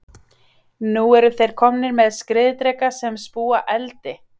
Nú eru þeir komnir með skriðdreka sem spúa eldi!